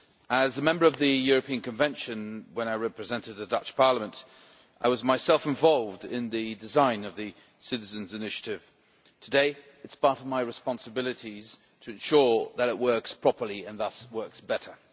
As a member of the European Convention, when I represented the Dutch Parliament, I was myself involved in the design of the Citizens' Initiative. Today, it is part of my responsibilities to ensure that it works properly and thus works better.